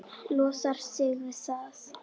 Losar sig við það.